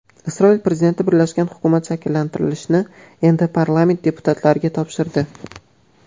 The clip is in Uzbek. Isroil prezidenti birlashgan hukumat shakllantirishni endi parlament deputatlariga topshirdi.